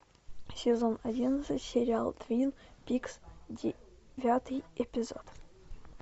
сезон одиннадцать сериал твин пикс девятый эпизод